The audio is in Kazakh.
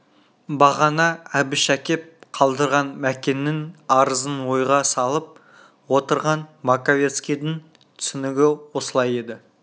бағана әбіш әкеп қалдырған мәкеннің арызын ойға салып отырған маковецкийдің түсінігі осылай еді